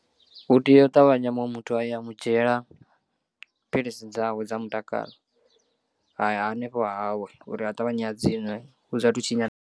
U tea u ṱavhanya muṅwe muthu aya a mu dzhiela philisi dzawe dza mutakalo hanefho hahawe uri a ṱavhanye a dziṅwe hu sathu tshinyala.